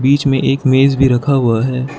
बीच में एक मेज भी रखा हुआ है।